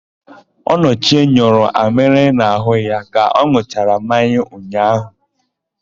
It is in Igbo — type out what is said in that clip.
Ọnọchie nyụrụ amịrị n'àhụ́ ya ka ọ n̄ụchara mmanya ụnyaahụ.